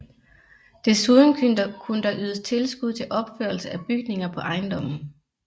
Desuden kunne der ydes tilskud til opførelse af bygninger på ejendommen